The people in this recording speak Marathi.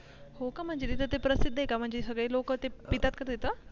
हो का म्हणजे ते प्रसिध्द आहे का म्हणजे तिथे सगळे लोक पितात का तिथे.